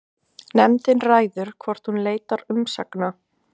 Nefndin ræður hvort hún leitar umsagna